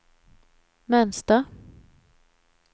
mönster